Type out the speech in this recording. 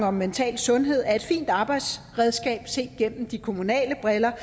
om mental sundhed er et fint arbejdsredskab set gennem de kommunale briller